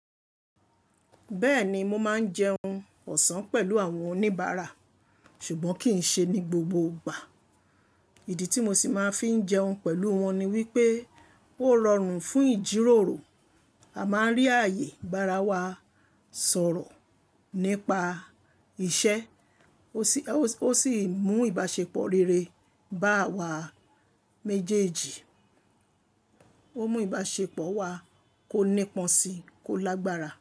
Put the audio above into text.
Bẹ́ẹ̀ni, mo máa ń jẹun ọ̀sán pẹ̀lú àwọn oníbàárà ṣùgbọ́n kì í ṣe ní gbogbo ìgbà. Ìdí tí mo sì máa ń fi jẹun pẹ̀lú wọn ni wípé ó rọrùn fún ìjíròrò. A máa ń rí ààyè ìbára ẹni sọ̀rọ̀ nípa iṣẹ́, ó sì mú ìbáṣepọ̀ rere bá awa méjèèjì, ó mú ìbáṣepọ̀ wa kó nípọn si, kó lágbára.